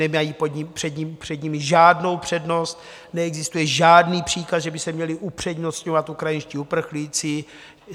Nemají před nimi žádnou přednost, neexistuje žádný příkaz, že by se měli upřednostňovat ukrajinští uprchlíci.